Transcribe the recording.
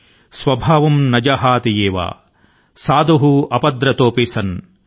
స్వభావం న జహాతి ఏవ సాధుః ఆపద్రతోపి సన్ ల్